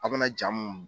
A bɛna ja mun